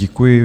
Děkuji.